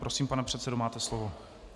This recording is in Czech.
Prosím, pane předsedo, máte slovo.